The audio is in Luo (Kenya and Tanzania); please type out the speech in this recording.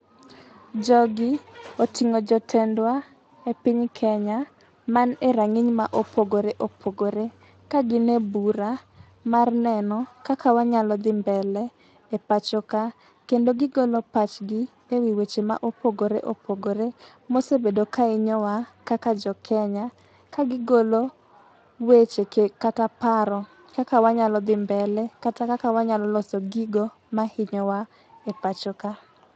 Jogi oting'o jotendwa e piny Kenya, man e rang'iny ma opogore opogore ka gin e bura, mar neno kaka wanyalo dhi mbele e pacho ka, kendo gi golo pachgi e wii weche ma opogore opogore mosebedo ka hinyowa kaka jo Kenya kagigolo weche kata paro, kaka wanyalo dhi mbele kata wanyalo loso gigo ma hinyowa e pacho ka.